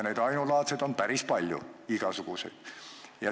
Neid ainulaadseid on päris palju, igasuguseid.